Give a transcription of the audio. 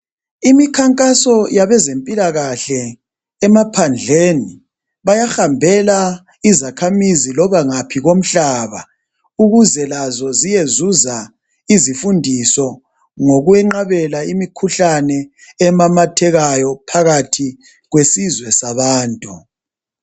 Imikhankaso yabezempilakahle emaphandleni, bayahambela izakhamizi loba ngaphi komhlaba ukuze lazo ziyezuza izifundiso ngokwenqabela imikhuhlane emamathekayo phakathi kwesizwe sabantu.